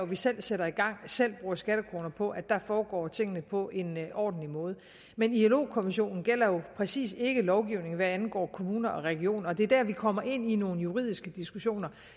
vi selv sætter i gang selv bruger skattekroner på foregår tingene på en ordentlig måde men ilo konventionen gælder jo præcis ikke lovgivningen hvad angår kommuner og regioner og det er der vi kommer ind i nogle juridiske diskussioner